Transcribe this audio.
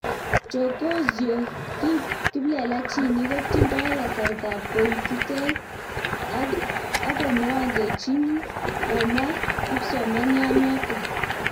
chokozyo kiplelachinik kotindoi kasartab koititei akomwongechini komwa kipsomanianoto